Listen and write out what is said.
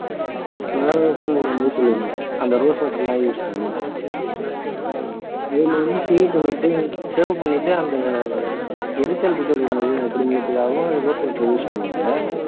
வழவழப்புங்கிற மாதிரி சொல்லுவாங்க அந்த rose water எல்லாம் use பண்ணினா அதுல வந்து shave பண்ணிட்டு shave பண்ணிட்டு அந்த எரிச்சல் இருக்ககூடாது அப்ப்டிங்கிறதுக்காகவும் rose water ஐ use பண்ணுவாங்க